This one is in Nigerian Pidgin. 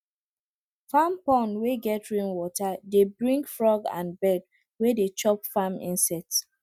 farm pond wey get rainwater dey bring frog and bird wey dey chop farm insects